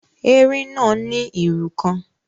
Erin náà ní irú kan.